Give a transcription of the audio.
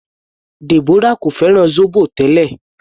Deborah kò fẹ́ràn zobo tẹ́lẹ̀.